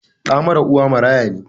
Ɗa mara uwa maraya ne?